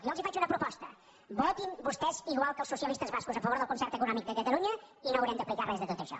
jo els faig una proposta votin vostès igual que els socialistes bascos a favor del concert econòmic de catalunya i no haurem d’aplicar res de tot això